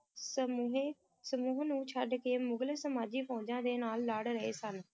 ਸਮੂਹੇ ਸਮੂਹ ਨੂੰ ਛੱਡ ਕੇ ਮੁਗਲ ਸਮਾਜੀ ਫੌਜ਼ਾਂ ਦੇ ਨਾਲ ਲੜ ਰਹੇ ਸਨ